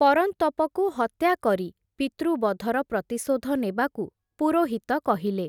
ପରନ୍ତପକୁ ହତ୍ୟାକରୀ ପିତୃବଧର ପ୍ରତିଶୋଧ ନେବାକୁ ପୁରୋହିତ କହିଲେ ।